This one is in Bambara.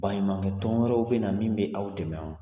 Baɲumankɛ tɔn wɛrɛw bɛ na min bɛ aw dɛmɛ wa?